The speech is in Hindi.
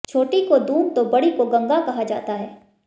छोटी को दून तो बड़ी को गंगा कहा जाता है